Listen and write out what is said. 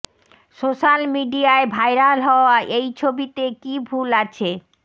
social মিডিয়ায় viral হওয়া এই ছবিতে কী ভুল আছে